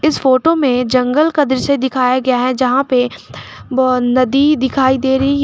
इस फोटो में जंगल का दृश्य दिखाया गया है जहां पे नदी दिखाई दे रही है।